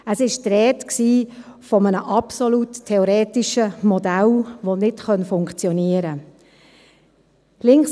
Es war die Rede von einem absolut theoretischen Modell, das nicht funktionieren könne.